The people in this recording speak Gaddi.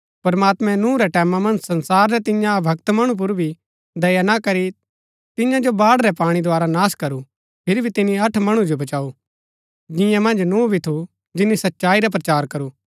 प्रमात्मैं नूह रै टैमां मन्ज संसार रै तिन्या अभक्त मणु पुर भी दया ना करी तिन्या जो बाढ़ रै पाणी द्धारा नाश करू फिरी भी तिनी अठ मणु जो बचाऊ जिन्या मन्ज नूह भी थू जिनी सच्चाई रा प्रचार करू